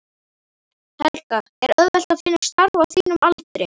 Helga: Er auðvelt að finna starf á þínum aldri?